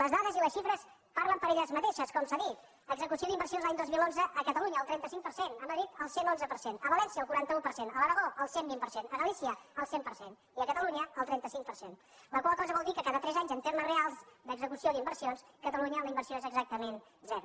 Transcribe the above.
les dades i les xifres parlen per elles mateixes com s’ha dit execució d’inversions l’any dos mil onze a catalunya el trenta cinc per cent a madrid el cent i onze per cent a valència el quaranta un per cent a l’aragó el cent i vint per cent a galícia el cent per cent i a catalunya el trenta cinc per cent la qual cosa vol dir que cada tres anys en termes reals d’execució d’inversions a catalunya la inversió és exactament zero